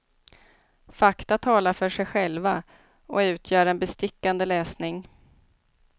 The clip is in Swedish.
Fakta talar för sig själva, och utgör en bestickande läsning.